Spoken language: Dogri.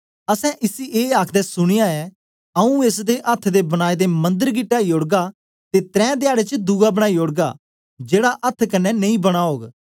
असैं इसी ए आखदे सुनया ऐ आऊँ एस अथ्थ दे बनाए दे मंदर गी टाई ओड़गा ते त्रै धयाडें च दूसरा बनाई ओड़गा जेड़ा अथ्थ कन्ने नेई बना ओग